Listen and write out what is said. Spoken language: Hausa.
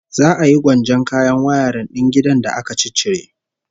Za a yi gwanjon kayan wayarin din gidan da aka ciccire